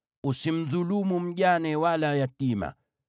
“Usimdhulumu mjane wala yatima.